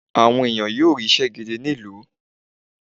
àwọn ènìyàn yóò ri iṣẹ gidí ní ìlú